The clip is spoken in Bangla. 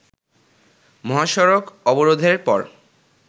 মহাসড়ক অবরোধের পর